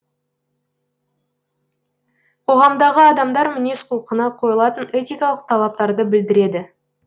қоғамдағы адамдар мінез құлқына қойылатын этикалық талаптарды білдіреді